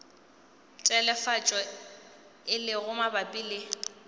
telefatšo e lego mabapi le